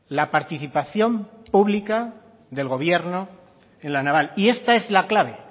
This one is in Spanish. la participación pública del gobierno en la naval y esta es la clave